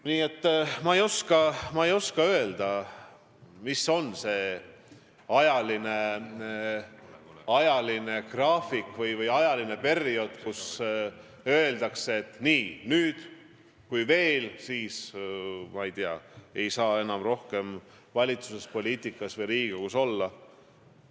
Nii et ma ei oska öelda, mis on see ajagraafik või periood, kui öeldakse, et nii, ma ei tea, ei saa enam kauem valitsuses, poliitikas või Riigikogus olla.